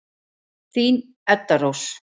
Þín, Edda Rós.